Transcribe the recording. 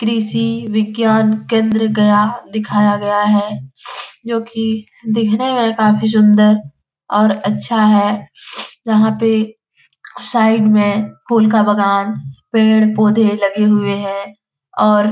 कृषि विज्ञान केन्द्र गया दिखाया गया है जो की दिखने में काफी सुंदर और अच्छा है यहाँ पे साइड में फूल का बगान पेड़-पौधे लगे हुए है और --